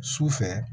Sufɛ